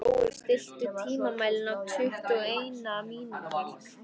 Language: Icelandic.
Brói, stilltu tímamælinn á tuttugu og eina mínútur.